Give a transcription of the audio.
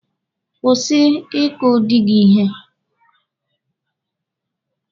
Kwụsị ị kụ dị gị ihe!